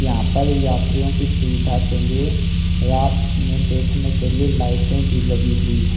यहां पर यात्रियों की सुविधा के लिए रात में देखने के लिए लाइटें भी लगी हुई हैं।